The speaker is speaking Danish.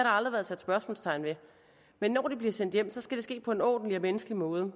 aldrig været sat spørgsmålstegn ved men når de bliver sendt hjem skal det ske på en ordentlig og menneskelig måde og